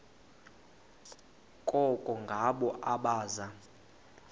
koko ngabo abaza